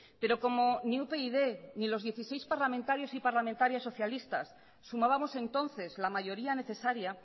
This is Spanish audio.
pero como ni upyd ni los dieciséis parlamentarios y parlamentarias socialistas sumábamos entonces la mayoría necesaria